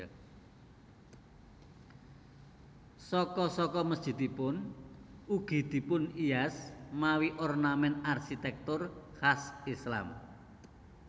Saka saka mesjidipun ugi dipunhias mawi ornament arsitektur khas Islam